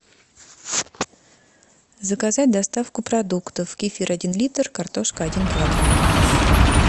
заказать доставку продуктов кефир один литр картошка один килограмм